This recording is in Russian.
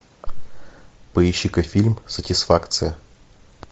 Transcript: поищи ка фильм сатисфакция